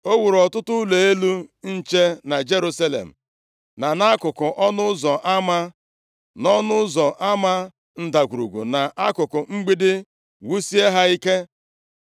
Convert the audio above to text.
O wuru ọtụtụ ụlọ elu nche na Jerusalem na nkuku Ọnụ Ụzọ Ama, nʼỌnụ Ụzọ Ama Ndagwurugwu, na nkuku mgbidi, wusie ha ike.